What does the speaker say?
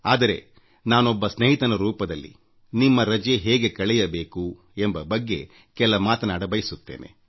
ಆದರೆ ನಾನೊಬ್ಬ ಸ್ನೇಹಿತನ ರೂಪದಲ್ಲಿ ನಿಮ್ಮ ರಜೆ ಹೇಗೆ ಕಳೆಯಬೇಕು ಎಂಬ ಬಗ್ಗೆ ಕೆಲವೊಂದು ವಿಚಾರ ತಿಳಿಸಬಯಸುತ್ತೇನೆ